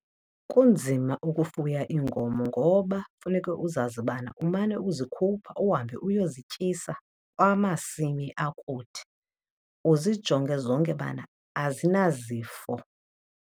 Kunzima ukufuya iinkomo ngoba funeke uzazi bana umane uzikhupha uhambe uyozityisa kwamasimi akude. Uzijonge zonke bana azinazo zifo.